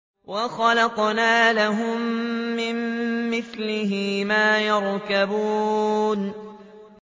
وَخَلَقْنَا لَهُم مِّن مِّثْلِهِ مَا يَرْكَبُونَ